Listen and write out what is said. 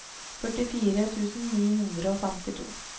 førtifire tusen ni hundre og femtito